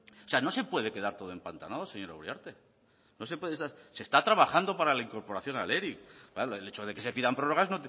o sea no se puede quedar todo empantanado señora uriarte no se puede estar se está trabajando para la incorporación al eric el hecho de que se pidan prórrogas